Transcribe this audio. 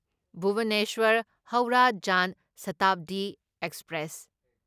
Bhubaneswar Howrah Jan Shatabdi express